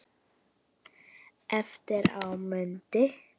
Eftir á mundi